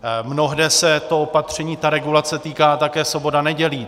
Mnohde se to opatření regulace týká také sobot a nedělí.